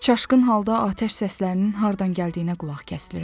Çaşqın halda atəş səslərinin hardan gəldiyinə qulaq kəsilirəm.